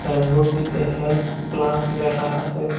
Sign বোর্ডটিতে health plus লেখা আসে।